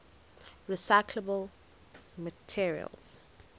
recyclable materials